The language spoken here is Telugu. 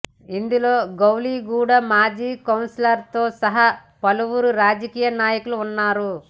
ఇందులో గౌలిగూడా మాజీ కౌన్సిలర్తో సహా పలువురు రాజకీయ నాయకులు ఉన్నారు